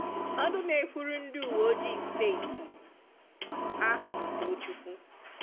Ọnụ na-ekwuru ndị uweojii steeti ahụ bụ Tochukwu